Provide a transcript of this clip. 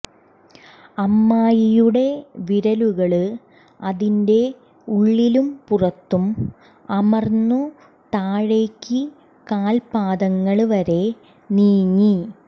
അമ്മായിയുടെ വിരലുകള് അതിന്റെ ഉള്ളിലും പുറത്തും അമര്ന്നു താഴേക്ക് കാല്പ്പാദങ്ങള് വരെ നീങ്ങി